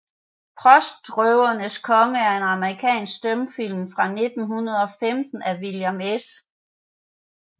Postrøvernes Konge er en amerikansk stumfilm fra 1915 af William S